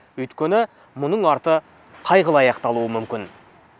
өйткені мұның арты қайғылы аяқталуы мүмкін